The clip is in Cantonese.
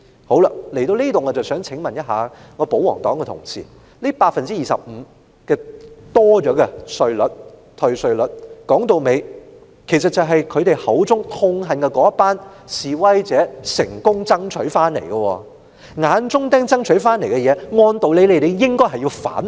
好了，至此我想請問我的保皇黨同事，這多出的25個百分點退稅率，歸根究底是他們口中痛恨的那群示威者成功爭取回來的；由眼中釘爭取回來的東西，按道理，他們應該反對。